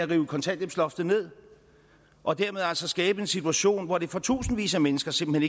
rive kontanthjælpsloftet ned og dermed altså skabe en situation hvor det for tusindvis af mennesker simpelt